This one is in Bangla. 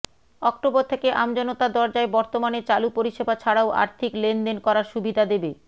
অক্টোবর থেকে আমজনতার দরজায় বর্তমানে চালু পরিষেবা ছাড়াও আর্থিক লেনদেন করার সুবিধা দেবে